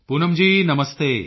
Poonam ji ਨਮਸਤੇ